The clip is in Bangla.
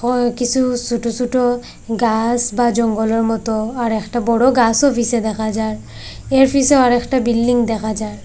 অয় কিসু সোট সোট গাস বা জঙ্গলের মতো আর একটা বড় গাসও পিসে দেখা যায় এর পিসে আর একটা বিল্ডিং দেখা যায়।